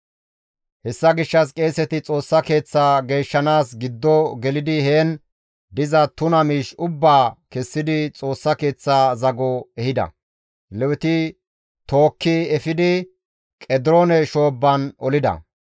Hessa gishshas qeeseti Xoossa Keeththaa geeshshanaas giddo gelidi heen diza tuna miish ubbaa kessidi Xoossa Keeththaa zago ehida; Leweti tookki efidi Qediroone shoobban olida.